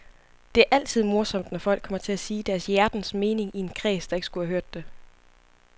Det er altid morsomt, når folk kommer til at sige deres hjertens mening i en kreds, der ikke skulle have hørt det.